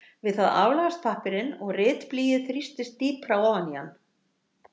Við það aflagast pappírinn og ritblýið þrýstist dýpra ofan í hann.